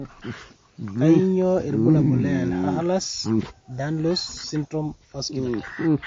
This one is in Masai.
kanyioo irbulabol le Ehlers Danlos syndrome ,vasculer type?.